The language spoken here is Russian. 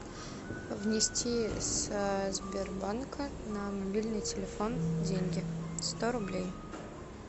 внести с сбербанка на мобильный телефон деньги сто рублей